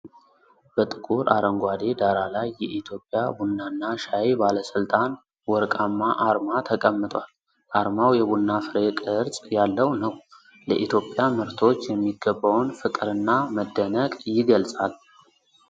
በጥቁር አረንጓዴ ዳራ ላይ የኢትዮጵያ ቡናና ሻይ ባለስልጣን ወርቃማ አርማ ተቀምጧል። አርማው የቡና ፍሬ ቅርጽ ያለው ነው፣ ለኢትዮጵያ ምርቶች የሚገባውን ፍቅርና መደነቅ ይገልጻል።